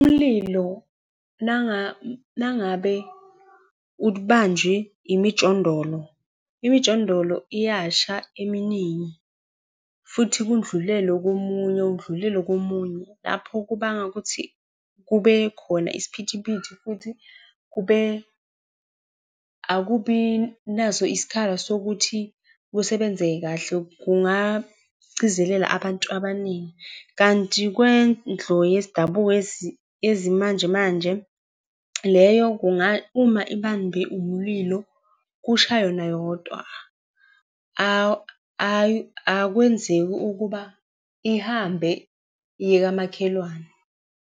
Umlilo uma uma ngabe ubanjwe imijondolo, imijondolo iyasha eminingi futhi kudlulele komunye, kudlulele komunye. Lapho kubanga ukuthi kube khona isiphithiphithi, futhi kube, akubi naso isikhala sokuthi kusebenzeke kahle kungagcizelela abantu abaningi. Kanti kwendlu yesidabuko yezimanjemanje, leyo uma ibambe umlilo, kusha yona yodwa akwenzeki ukuba ihambe iye kamakhelwane.